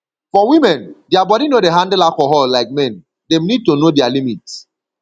for women their body no dey handle alcohol like men dem need to know their limit